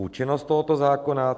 Účinnost tohoto zákona.